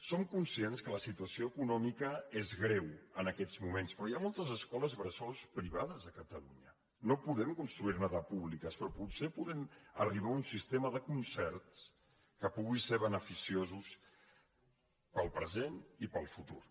som conscients que la situació econòmica és greu en aquests moments però hi ha moltes escoles bressol privades a catalunya no podem construir ne de públiques però potser podem arribar a un sistema de concerts que pugui ser beneficiós per al present i per al futur